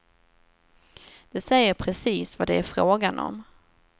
Det säger precis vad det är frågan om.